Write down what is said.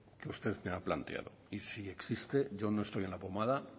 que usted ha planteado y si existe yo no estoy en la pomada